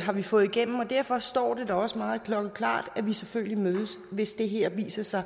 har vi fået igennem og derfor står det da også meget klokkeklart at vi selvfølgelig mødes hvis det her viser sig